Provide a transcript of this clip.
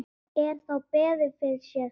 Er þá beðið fyrir sér.